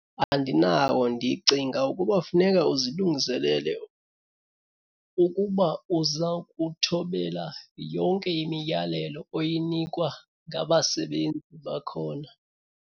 Andinawo. Ndicinga ukuba funeka uzilungiselele ukuba uza kuthobela yonke imiyalelo oyinikwa ngabasebenzi bakhona.